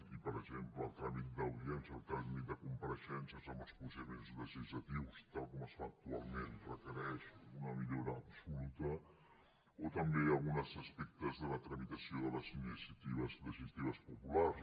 i per exemple el tràmit d’audiència el tràmit de compareixences en els procediments legislatius tal com es fa actualment requereix una millora absoluta o també alguns aspectes de la tramitació de les iniciatives legislatives populars